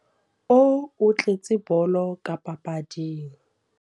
O otletse bolo ka papading.